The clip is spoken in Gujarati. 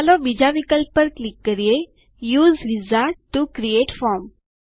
ચાલો બીજા વિકલ્પ પર ક્લિક કરીએ U S E wizard T O create form